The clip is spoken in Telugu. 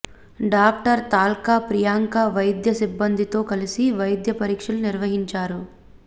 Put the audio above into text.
డాక్టర్ తాల్క ప్రియాంక వైద్య సిబ్బందితో కలిసి వైద్య పరీక్షలు నిర్వహించారు